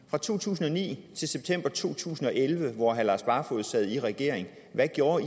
fra to tusind og ni til september to tusind og elleve hvor herre lars barfoed sad i regering hvad gjorde